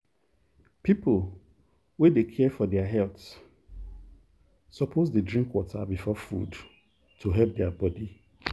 people wey dey care for their health suppose dey drink water before food to help their body.